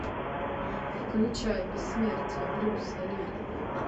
включай бессмертие брюса ли